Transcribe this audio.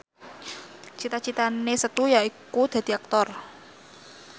cita citane Setu yaiku dadi Aktor